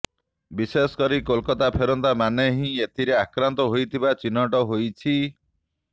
ବିଶେଷ କରି କୋଲକାତା ଫେରନ୍ତା ମାନେ ହିଁ ଏଥିରେ ଆକ୍ରାନ୍ତ ହୋଇଥିବା ଚିହ୍ନଟ ହୋଇଛି